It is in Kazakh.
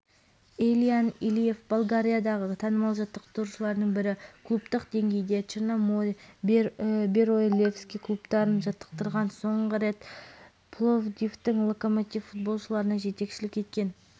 францияда өткен әлем чемпионатына қатысқан болгарияның черно море және левски клубтарында ойнаған сондай-ақ бенфика бурсаспор